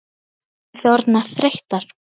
Voru þið orðnar þreyttar?